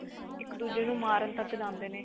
ਇੱਕ ਦੂਜੇ ਨੂੰ ਮਾਰਨ ਤੱਕ ਜਾਂਦੇ ਨੇ